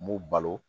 N b'u balo